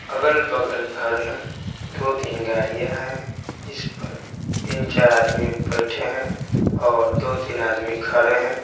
अगल-बगल घर हैं दो-तीन गाड़ियाँ हैं जिस पर तीन-चार आदमी बैठे हैं और दो-तीन आदमी खा रहे हैं।